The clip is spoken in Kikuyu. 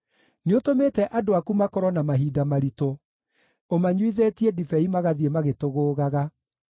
Nĩũtũmĩte andũ aku makorwo na mahinda maritũ; ũmanyuithĩtie ndibei magathiĩ magĩtũgũũgaga.